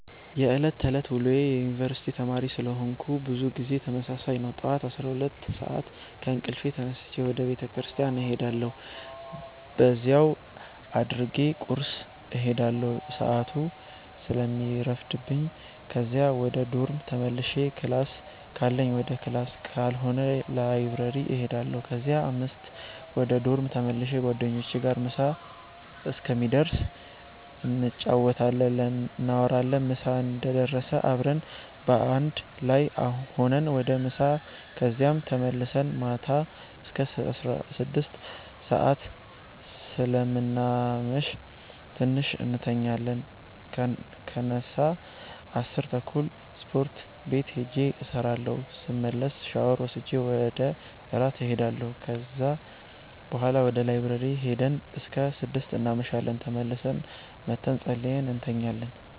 የዕለት ተዕለት ውሎዬ የዩነኒቨርስቲ ተማሪ ስለሆነኩ ብዙ ጊዜ ተመሳሳይ ነው። ጠዋት 12:00 ሰአት ከእንቅልፌ ተነስቼ ወደ ቤተክርስቲያን እሄዳለሁ በዚያው አድርጌ ቁርስ እሄዳለሁ ሰአቱ ስለሚረፍድብኝ ከዚያ ወደ ዶርም ተመልሼ ክላስ ካለኝ ወደ ክላስ ካልሆነ ላይብረሪ እሄዳለሁ ከዚያ 5:00 ወደ ዶርም ተመልሼ ጓደኞቼ ጋር ምሳ እስከሚደርስ እንጫወታለን፣ እናወራለን ምሳ እንደደረሰ አብረን በአንድ ላይ ሁነን ወደ ምሳ ከዚያም ተመልሰን ማታ አስከ 6:00 ሰአት ስለምናመሽ ትንሽ እንተኛለን ስነሳ 10:30 ስፖርት ቤት ሂጄ እሰራለሁ ስመለስ ሻወር ወስጄ ወደ እራት እሄዳለሁ ከዚያ ቡሀላ ወደ ላይብረሪ ሂደን እስከ 6:00 እናመሻለን ተመልሰን መተን ፀልየን እንተኛለን።